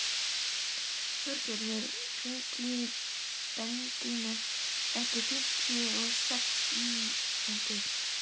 Þorgerður, hringdu í Bedínu eftir fimmtíu og sex mínútur.